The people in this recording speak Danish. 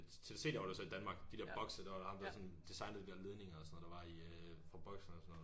TDC laver det så i Danmark de der bokse der var det ham der sådan designede de der ledninger og sådan noget der var i øh for boksene og sådan noget